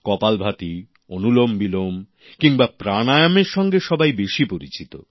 কপালভাতি অনুলোমবিলোম কিংবা প্রাণায়ামের সঙ্গে সবাই বেশি পরিচিত